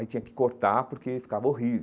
Aí tinha que cortar porque ficava horrível.